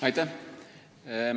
Aitäh!